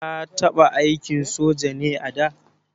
Ka taɓa aikin soja ne a da?